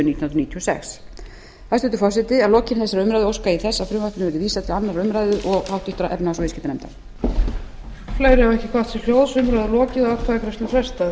níutíu og sex hæstvirtur forseti að lokinni þessari umræðu óska ég þess að frumvarpinu verði vísað til annarrar umræðu og háttvirtrar efnahags og viðskiptanefndar